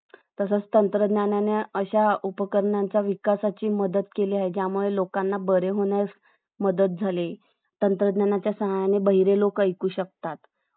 तसंच तंत्रज्ञानाने आशा उपकरणांचा विकासाची मदत केली ज्यामुळे लोकांना बरे होण्यास मदत झाली तंत्रज्ञानाच्या सहाय्याने बहिरे लोक ऐकू शकतात